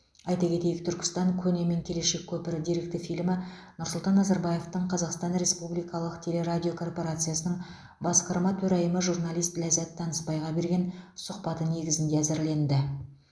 айта кетейік түркістан көне мен келешек көпірі деректі фильмі нұрсұлтан назарбаевтың қазақстан республикалық телерадиокорпорациясының басқарма төрайымы журналист ләззат танысбайға берген сұхбаты негізінде әзірленді